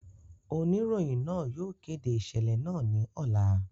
Onirohin naa yóò kede iṣẹlẹ naa ni ọla.